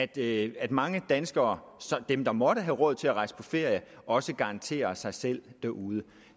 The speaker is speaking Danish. det at mange danskere dem der måtte have råd til at rejse på ferie også garanterer for sig selv derude